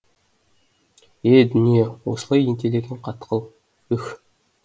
е дүние осылай ентелеген қатқыл үһ